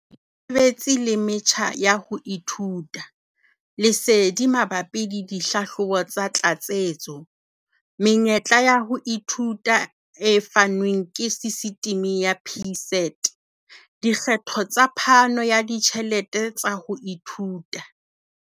Sebetsi le metjha ya ho ithuta. Lesedi mabapi le dihlahlobo tsa tlatsetso. Menyetla ya ho ithuta e fanwang ke sistimi ya PSET. Dikgetho tsa phano ya ditjhelete tsa ho ithuta.